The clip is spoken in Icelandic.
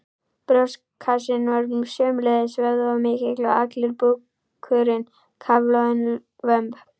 Brjóstkassinn var sömuleiðis vöðvamikill og allur búkurinn kafloðinn, vömb